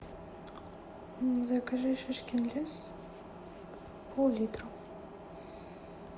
закажи шишкин лес пол литра